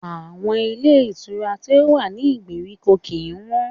Àwọn ilé ìtura tí ó wà ní ìgbèríko kìí wọ́n.